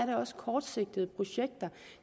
det også kortsigtede projekter